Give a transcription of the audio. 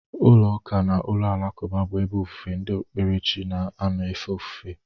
Ụlọ ụka na ụlọ alakụba bụ ebe ofufe ndị okpukpere chi na-anọ efe ofufe.